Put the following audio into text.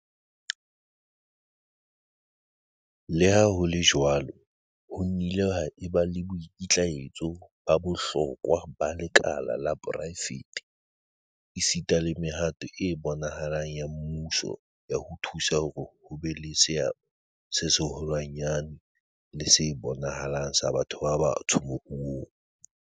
Le ha ho le jwalo, ho nnile ha eba le boikitlaetso ba bohlokwa ba lekala la poraefete, esita le mehato e bonahalang ya mmuso ya ho thusa hore ho be le seabo se seholwanyane le se bonahalang sa batho ba batsho moruong.